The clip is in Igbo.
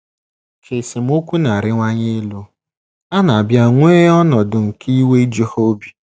Ka esemokwu na - arịwanye elu, a na - abịa nwee ọnọdụ nke iwe iju ha obi.